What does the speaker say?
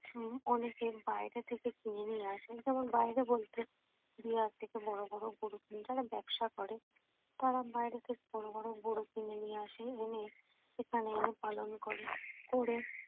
উম অনেকে বাইরে থেকে কিনে নিয়ে আসে যেমন বাইরে বলতে বিহার থেকে বড় বড় গরু উম যারা ব্যবসা করে তারা বাইরে থেকে বড় বড় গরু কিনে নিয়ে আসে এনে এখানে এনে পালন করে। করে